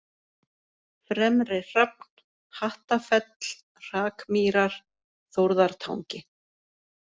Fremri-Hrafn, Hattafell, Hrakmýrar, Þórðartangi